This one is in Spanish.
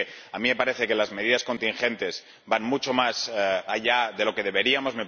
Así que a mí me parece que las medidas contingentes van mucho más allá de lo que deberíamos